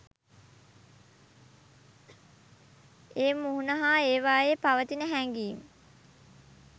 ඒ මුහුණ හා ඒවායේ පවතින හැඟීම්